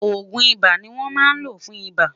ògún ibà ní wón má ló fún ibà